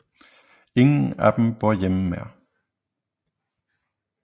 Ingen af dem bor hjemme mere